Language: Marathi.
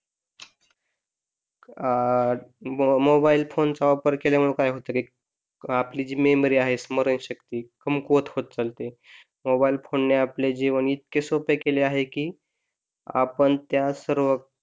अह मोबाईल फोनचा वापर केल्यामुळं काय होत की आपली जी मेमरी आहे स्मरणशक्ती कमकुवत होत चालते मोबाईल फोन ने आपले जीवन इतके सोपे केले आहे की आपण त्या सर्व